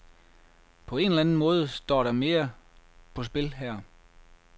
På en eller anden måde står der mere på spil her.